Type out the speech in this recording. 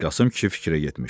Qasım kişi fikrə getmişdi.